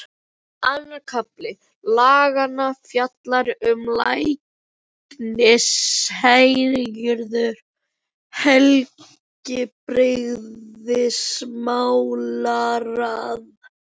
Annar kafli laganna fjallar um læknishéruð og heilbrigðismálaráð.